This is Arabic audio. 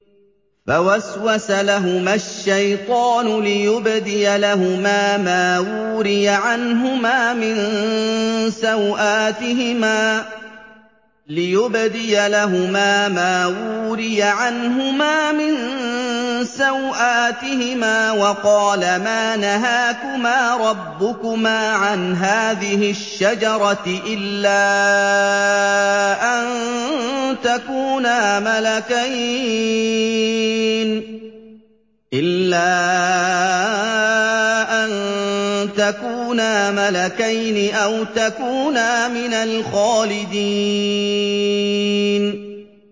فَوَسْوَسَ لَهُمَا الشَّيْطَانُ لِيُبْدِيَ لَهُمَا مَا وُورِيَ عَنْهُمَا مِن سَوْآتِهِمَا وَقَالَ مَا نَهَاكُمَا رَبُّكُمَا عَنْ هَٰذِهِ الشَّجَرَةِ إِلَّا أَن تَكُونَا مَلَكَيْنِ أَوْ تَكُونَا مِنَ الْخَالِدِينَ